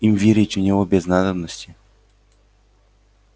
им верить в него без надобности